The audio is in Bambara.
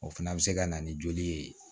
O fana bɛ se ka na ni joli ye